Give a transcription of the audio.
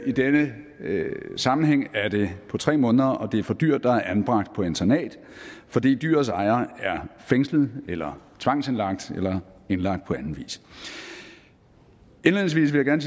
i denne sammenhæng er det på tre måneder og det er for dyr der er anbragt på internat fordi dyrets ejer er fængslet eller tvangsindlagt eller indlagt på anden vis indledningsvis vil jeg